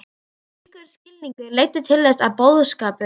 Slíkur skilningur leiddi til þess að boðskapur